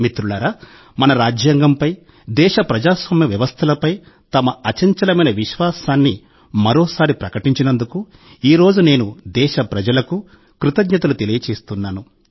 మిత్రులారా మన రాజ్యాంగంపై దేశ ప్రజాస్వామ్య వ్యవస్థలపై తమ అచంచలమైన విశ్వాసాన్ని మరోసారి ప్రకటించినందుకు ఈ రోజు నేను దేశప్రజలకు కృతజ్ఞతలు తెలియజేస్తున్నాను